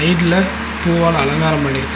இதுல பூவால அலங்காரம் பண்ணிருக்காங்க.